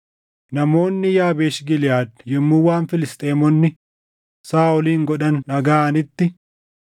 Namoonni Yaabeesh Giliʼaad yommuu waan Filisxeemonni Saaʼolin godhan dhagaʼanitti,